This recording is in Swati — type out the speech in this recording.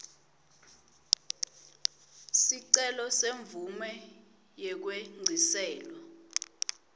sicelo semvumo yekwengciselwa